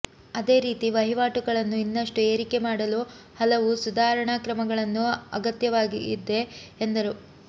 ಅದೇರೀತಿ ವಹಿವಾಟುಗಳನ್ನು ಇನ್ನಷ್ಟು ಏರಿಕೆ ಮಾಡಲು ಹಲವು ಸುಧಾರಣಾ ಕ್ರಮಗಳ ಅಗತ್ಯವಾಗಿದೆ ಎಂದರು